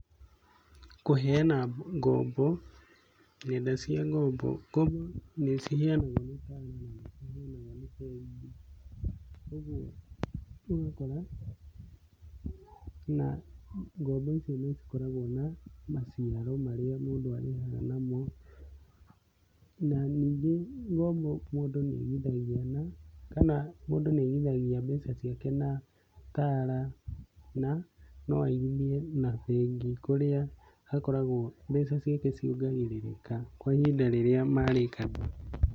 Kũheana ngombo nenda cia ngombo, ngombo nĩ ciheanagwo nĩ Tala na nĩ ciheanagwo nĩ bengi. Ũguo ũgakora na ngombo icio nĩ cikoragwo na maciaro marĩa mũndũ arĩhaga namo. Na ningĩ ngombo mũndũ nĩ aigithagia kana mũndũ nĩ aigithagia mbeca ciake na Tala na no aigithie na bengi. Kũrĩa akoragwo mbeca ciake ciongagĩrĩrĩka kwa ihinda rĩrĩa marĩkanĩra.